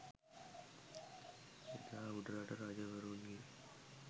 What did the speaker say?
එදා උඩරට රජවරුන්ගේ